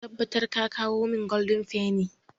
Ka tabbatar ka kawo min goldin feni!